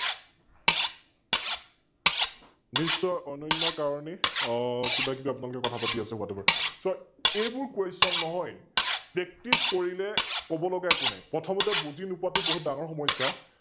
নিস্বয় অনন্যা কাৰনে, অঃ কিবাকিবি আপোনালোকে কথা পাতি আছে Whatever, So এইবোৰ Question নহয় Practice কৰিলে কব লগা একো নাই, প্ৰথমতে বুজি নোপোৱাটো বহুত ডাঙৰ সমস্যা,